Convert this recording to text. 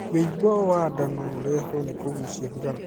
Wĩimbo wa nda no ũrehwo nĩ kugucia thigara..